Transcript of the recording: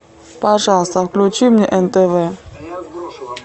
пожалуйста включи мне нтв